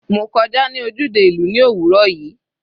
Mo kọjá ní ojúde ìlú ní òwúrọ̀ yìí.